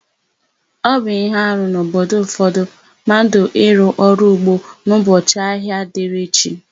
Ọ bụ íhé arụ n'obodo ụfọdụ mmadụ ịrụ ọrụ ugbo n'ụbọchị ahịa dịrị chi.